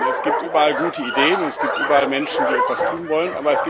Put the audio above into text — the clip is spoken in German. Denn es gibt überall gute Ideen, und es gibt überall Menschen, die etwas tun wollen.